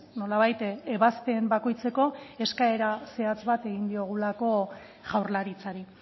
nolabait ebazpen bakoitzeko eskaera zehatz bat egin diogulako jaurlaritzari